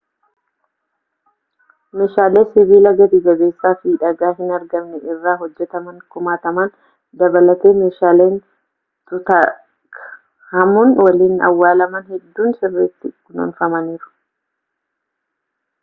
meeshaalee sibiila gati-jabeessaa fi dhagaa hin argamne irra hojjetaman kumaatama dabalatee meeshaaleen tutankhamun waliin awwaalaman hedduun sirritti kunuunfamaniiru